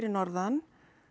norðan